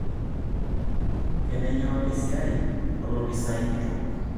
Kanayio esiai olopisaai kitok?